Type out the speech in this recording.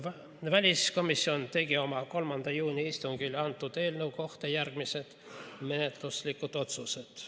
Väliskomisjon tegi oma 3. juuni istungil eelnõu kohta järgmised menetluslikud otsused.